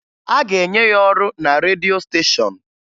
A ga-enye ya ọrụ na redio steshọn